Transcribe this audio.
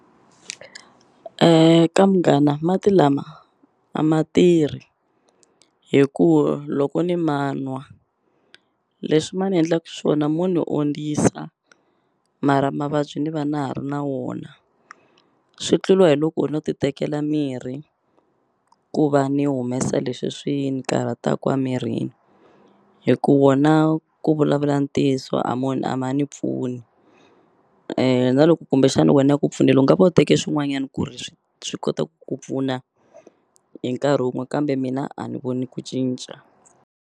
Munghana mati lama a ma tirhi hi ku loko ni ma nwa leswi ma ni endlaku swona mo ni ondzisa mara mavabyi ni va na ha ri na wona swi tluliwa hi loko no ti tekela mirhi ku va ni humesa leswi swi ni karhataku a mirini hi ku wona ku vulavula ntiyiso a a ma ni pfuni na loko kumbexani wena ya ku pfunela u nga va u teke swin'wanyani ku ri swi kota ku ku pfuna hi nkarhi wun'we kambe mina a ni voni ku cinca.